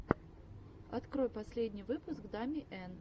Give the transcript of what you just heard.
открой последний выпуск дами эн